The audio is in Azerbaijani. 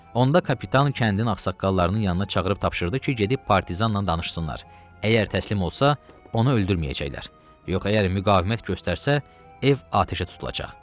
Onda kapitan kəndin ağsaqqallarını yanına çağırıb tapşırdı ki, gedib partizanla danışsınlar, əgər təslim olsa, onu öldürməyəcəklər, yox əgər müqavimət göstərsə, ev atəşə tutulacaq.